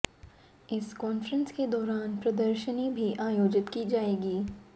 इस कान्फ्रेंस के दौरान प्रदर्शनी भी आयोजित की जायेगी